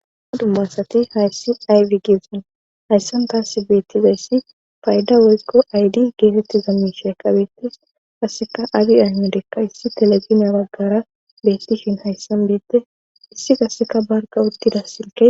adumma asati hayssi aywi geesan hayssan taassi beettizayssi fayda woykko aydi geetetti za misheeqabeete kasseka agi aymelekka issi teleziniya baggara beettishin hayssan beette issi kasseka barka uttida silke